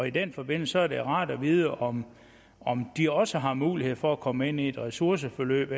i den forbindelse er det rart at vide om om de også har mulighed for at komme ind i et ressourceforløb